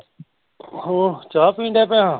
ਹੋ ਚਾਹ ਪੀਣ ਡਹਿ ਪਿਆਂ